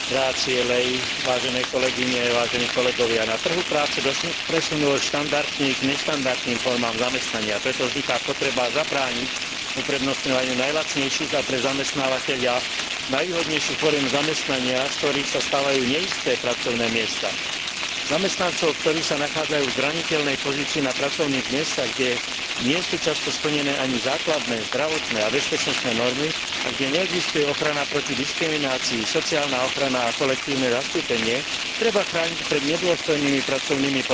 Na trhu práce došlo k presunu od štandardných k neštandardným formám zamestnania, preto vzniká potreba zabrániť uprednostňovaniu najlacnejších a pre zamestnávateľa najvýhodnejších foriem zamestnania, z ktorých sa stávajú neisté pracovné miesta. Zamestnancov, ktorí sa nachádzajú v zraniteľnej pozícii na pracovných miestach, kde nie sú často splnené ani základné zdravotné a bezpečnostné normy a kde neexistuje ochrana proti diskriminácii, sociálna ochrana a kolektívne zastúpenie, treba chrániť pred nedôstojnými pracovnými podmienkami a zneužívaním.